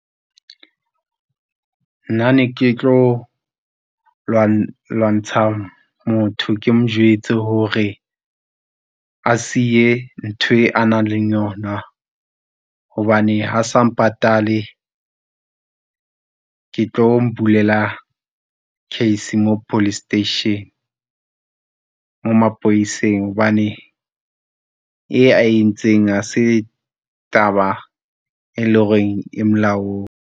Nna ne ke tlo lwantsha motho, ke mo jwetse hore a siye ntho a nang le yona, hobane ha sa mpatale ke tlo m'bulela case mo police station mo mapoleseng hobane e a entseng ha se taba, e lo reng e molaong.